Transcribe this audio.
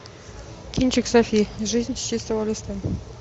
кинчик софи жизнь с чистого листа